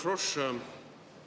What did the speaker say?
Härra Frosch!